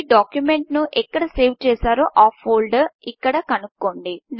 మీ డాక్యుమెంట్ను ఎక్కడ సేవ్ చేశారో ఆ ఫోల్డర్ను ఇక్కడ కనుగొనండి